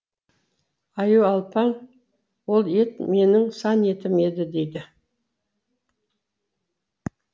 аюалпаң ол ет менің сан етім еді дейді